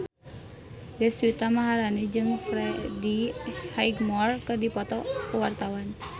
Deswita Maharani jeung Freddie Highmore keur dipoto ku wartawan